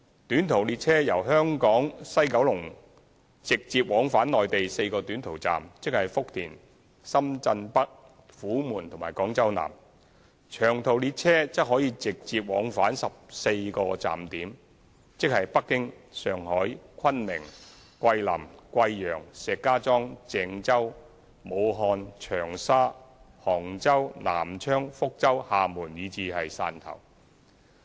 短途列車由香港西九龍直接往返內地4個短途站點，即福田、深圳北、虎門和廣州南；長途列車則可直接往返14個站點，即北京、上海、昆明、桂林、貴陽、石家莊、鄭州、武漢、長沙、杭州、南昌、福州、廈門和汕頭。